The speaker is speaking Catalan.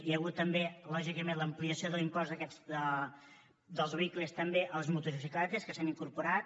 hi ha hagut també lògicament l’ampliació de l’impost dels vehicles també a les motocicletes que s’hi han incorporat